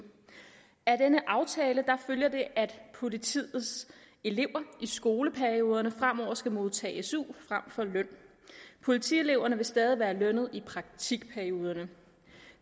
af denne aftale følger det at politiets elever i skoleperioderne fremover skal modtage su frem for løn politieleverne vil stadig være lønnede i praktikperioderne